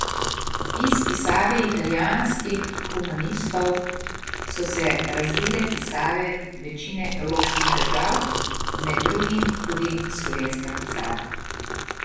Iz pisave italijanskih humanistov so se razvile pisave večine evropskih držav, med drugim tudi slovenska pisava.